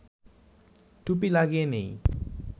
টুপি লাগিয়ে নেই